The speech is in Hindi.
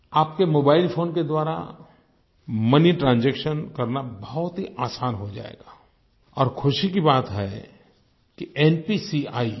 आपके मोबाइल फोन के द्वारा मोनी ट्रांजैक्शन करना बहुत ही आसान हो जाएगा और ख़ुशी की बात है कि npcआई